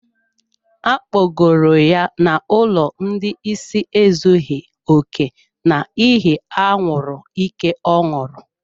Akpọgoro ya n'ụlọ ndị ịsị ezughi oke n'ihi anwuru ike ọ ṅụrụ.